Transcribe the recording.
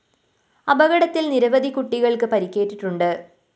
അപകടത്തില്‍ നിരവധി കുട്ടികള്‍ക്ക് പരിക്കേറ്റിട്ടുണ്ട്